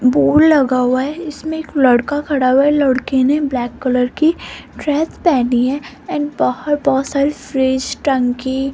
board लगा हुआ है इसमें एक लड़का खड़ा हुआ लड़के ने ब्लैक कलर की ड्रेस पहनी है एंड बाहर बहोत सारी फ्रिज टंकी --